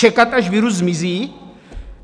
Čekat, až virus zmizí?